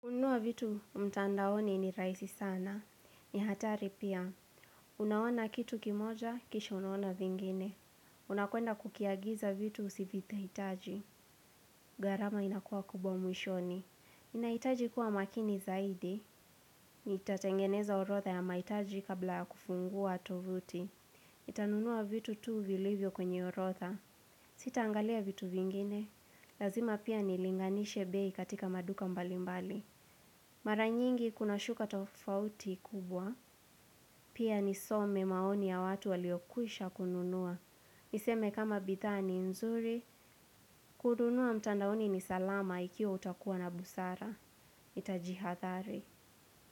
Kununua vitu mtandaoni ni rahisi sana. Ni hatari pia. Unaona kitu kimoja, kisha unaona vingine. Unakwenda kukiagiza vitu usivihitaji. Gharama inakuwa kubwa mwishoni. Ninahitaji kuwa makini zaidi. Nitatengeneza orotha ya mahitaji kabla ya kufungua tovuti. Nitanunua vitu tu vilivyo kwenye orotha. Sitaangalia vitu vingine. Lazima pia nilinganishe bei katika maduka mbalimbali. Mara nyingi kuna shuka tofauti kubwa, pia nisome maoni ya watu walio kwisha kununua. Niseme kama bidhaa ni nzuri, kununua mtandaoni ni salama ikiwa utakuwa na busara. Nitajihathari.